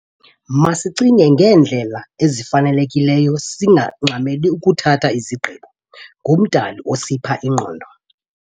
Masicinge ngendlela efanelekileyo singangxameli ukuthatha izigqibo. nguMdali osipha ingqondo